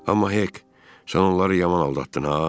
Amma Hek, sən onları yaman aldatdın ha!